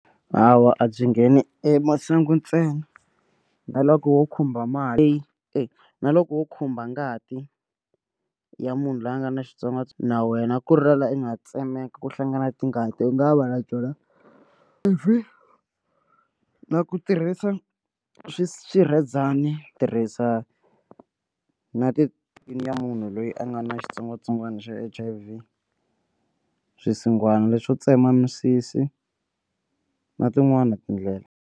Hawa a byi ngheni e masangu ntsena na loko wo khumba mali leyi e na loko wo khumba ngati ya munhu loyi a nga na na wena ku ri na la u nga tsemeka ku hlangana tingati u nga va la byona ivi na ku tirhisa swi si swirhezani tirhisa na ti ya munhu loyi a nga na xitsongwatsongwana xa H_I_V swisinghwana leswo tsema misisi na tin'wani tindlela.